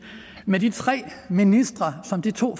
med de tre ministre som de to